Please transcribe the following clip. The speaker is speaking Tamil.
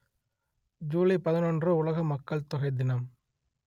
ஜூலை பதினொன்று உலக மக்கள் தொகை தினம்